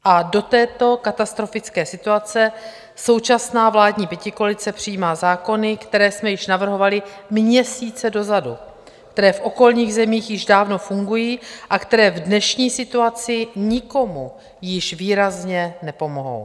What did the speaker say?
A do této katastrofické situace současná vládní pětikoalice přijímá zákony, které jsme již navrhovali měsíce dozadu, které v okolních zemích již dávno fungují a které v dnešní situaci nikomu již výrazně nepomohou.